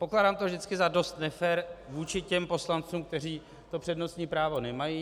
Pokládám to vždycky za dost nefér vůči těm poslancům, kteří to přednostní právo nemají.